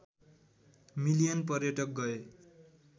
million पर्यटक गए